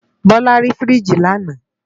Bose rá fírìjí làná